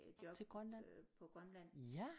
Til Grønland ja